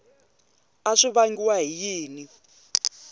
a swi vangiwa hi yini